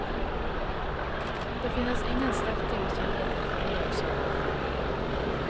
Det finnes ingen sterkere kilde til fornyelse og glede.